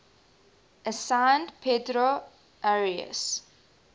assigned pedro arias